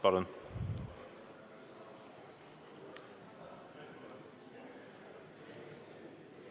Palun!